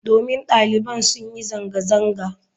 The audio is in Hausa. Domin daliban sun yi zanga-zanga.